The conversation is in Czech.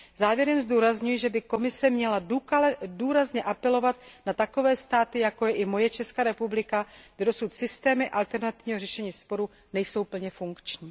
Závěrem zdůrazňuji, že by Komise měla důrazně apelovat na takové státy, jako je i Česká republika, kde dosud systémy alternativního řešení sporů nejsou plně funkční.